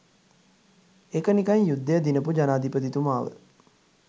ඒක නිකන් යුද්ධය දිනපු ජනාධිපතිතුමාව